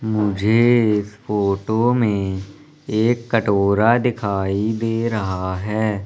मुझे इस फोटो में एक कटोरा दिखाई दे रहा है।